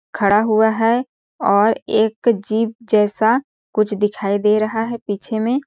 खड़ा हुआ है और एक जीप जैसा कुछ दिखाई दे रहा है पीछे में--